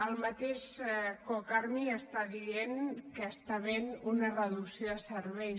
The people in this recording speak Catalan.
el mateix cocarmi està dient que hi està havent una reducció de serveis